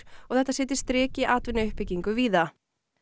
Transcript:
og þetta setji strik í atvinnuuppbyggingu víða